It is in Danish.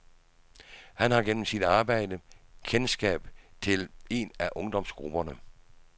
Han har gennem sit arbejde kendskab til en af ungdomsgrupperne.